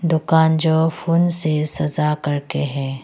दुकान जो फून से सजा कर के है।